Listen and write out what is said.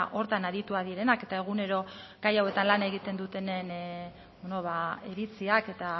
horretan adituak direnak eta egunero gai hauetan lan egiten dutenen iritziak eta